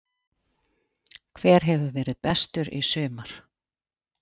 Álitið: Hver hefur verið bestur í sumar?